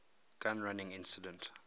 gun running incident